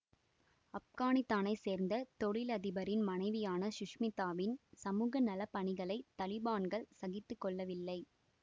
ஆப்கானித்தானைச் சேர்ந்த தொழிலதிபரின் மனைவியான சுஷ்மிதாவின் சமூக நலப் பணிகளை தலிபான்கள் சகித்து கொள்ளவில்லை